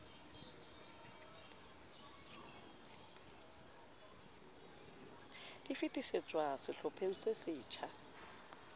di fetisetswa sehlopheng se setjha